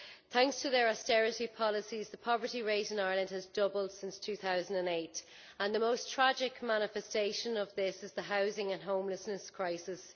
Thanks to their austerity policies, the poverty rate in Ireland has doubled since 2008, and the most tragic manifestation of this is the housing and homelessness crisis.